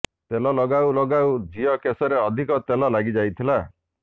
ତେଲ ଲଗାଉ ଲଗାଉ ଝିଅ କେଶରେ ଅଧିକ ତେଲ ଲାଗି ଯାଇଥିଲା